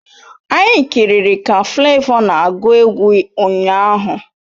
Anyị kiriri ka Flavour na agu egwu ụnyaahụ